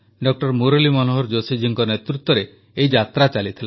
ଡା ମୁରଲୀ ମନୋହର ଜୋଶୀ ଜୀଙ୍କ ନେତୃତ୍ୱରେ ଏହି ଯାତ୍ରା ଚାଲିଥିଲା